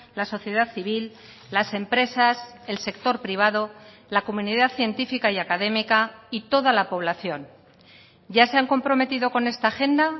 la sociedad civil las empresas el sector privado la comunidad científica y académica y toda la población ya se han comprometido con esta agenda